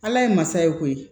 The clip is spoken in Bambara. Ala ye masa ye koyi